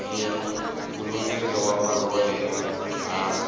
mugulugudela wa marhole wo hava